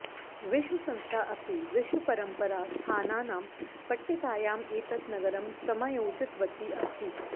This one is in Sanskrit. विश्वसंस्था अपि विश्वपरम्परास्थानानां पट्टिकायाम् एतत् नगरं समायोजितवती अस्ति